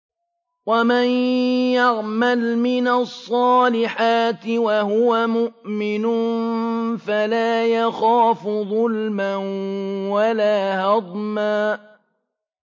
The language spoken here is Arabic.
وَمَن يَعْمَلْ مِنَ الصَّالِحَاتِ وَهُوَ مُؤْمِنٌ فَلَا يَخَافُ ظُلْمًا وَلَا هَضْمًا